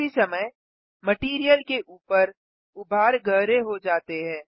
उसी समय मटैरियल के ऊपर उभार गहरे हो जाते हैं